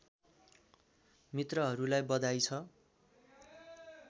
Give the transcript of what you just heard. मित्रहरूलाई बधाई छ